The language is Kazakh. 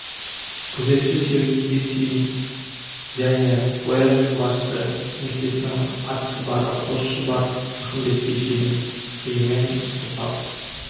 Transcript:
күзетші сергейге шейін және ояз бен басшы кеңсесінің атшабары қос шұбар ақымбетке шейін сыймен сыпап